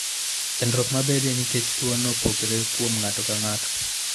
Chandruok mabedoe nikech tuwono, opogore kuom ng'ato ka ng'ato.